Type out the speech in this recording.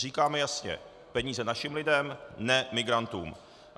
Říkáme jasně, peníze našim lidem, ne migrantům.